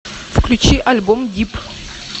включи альбом дип